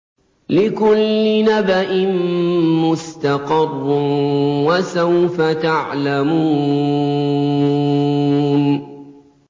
لِّكُلِّ نَبَإٍ مُّسْتَقَرٌّ ۚ وَسَوْفَ تَعْلَمُونَ